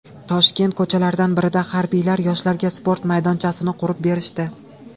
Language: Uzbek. Toshkent ko‘chalaridan birida harbiylar yoshlarga sport maydonchasini qurib berishdi .